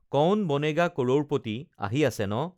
কৌন বনেগা কড়ৌৰপটি আহি আছে ন